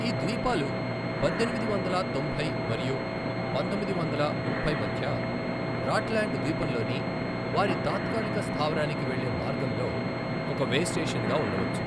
ఈ ద్వీపాలు పద్దెనిమిది వందల తొంభై మరియు పంతొమ్మిది వందల ముప్పై మధ్య రాట్ల్యాండ్ ద్వీపంలోని వారి తాత్కాలిక స్థావరానికి వెళ్లే మార్గంలో ఒక వేస్టేషన్గా ఉండవచ్చు.